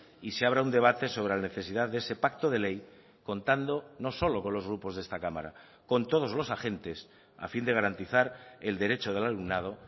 y se abra un debate sobre la necesidad de ese pacto de ley contando no solo con los grupos de esta cámara con todos los agentes a fin de garantizar el derecho del alumnado